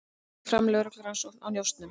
Fer fram á lögreglurannsókn á njósnum